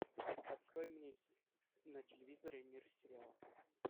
открой мне на телевизоре мир сериала